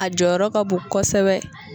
A jɔyɔrɔ ka bon kosɛbɛ.